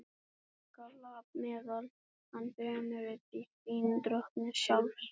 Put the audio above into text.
Og drekka lap meðal manna fremur en dýrt vín drottins sjálfs?